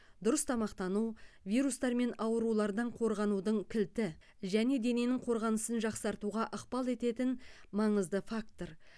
дұрыс тамақтану вирустар мен аурулардан қорғаудың кілті және дененің қорғанысын жақсартуға ықпал ететін маңызды фактор